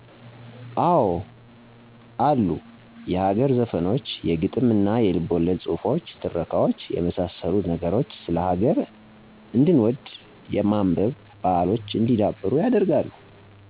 አወ አሉ የሀገር ዘፈኖች የግጥምና የልቦለድ ጹህፎች ትረካዋች የመሳሰሉት ነገሮች ስለ ሀገር እንድንወድ የማንበብ ባሕሎች እንዲዳብሩ ያደርጋሉ።